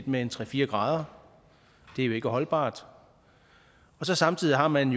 med tre fire grader det er jo ikke holdbart og samtidig har man